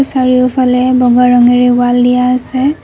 চাৰিওফালে বগা ৰঙেৰে ৱাল দিয়া আছে।